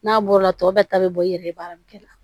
N'a bɔra tɔ bɛɛ ta bɛ bɔ i yɛrɛ ye baara min kɛ la